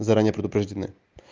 заранее предупреждены